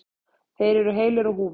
Þeir eru heilir á húfi.